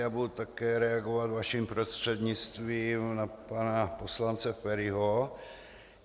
Já budu také reagovat vaším prostřednictvím na pana poslance Feriho.